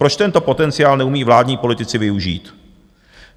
Proč tento potenciál neumí vládní politici využít?